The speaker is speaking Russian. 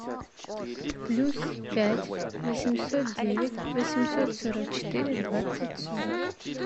плюс пять восемьсот девять восемьсот сорок четыре двадцать сорок